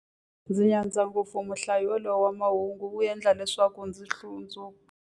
Ndzi nyadza ngopfu muhlayi yaloye wa mahungu, u endla leswaku ndzi hlundzuka.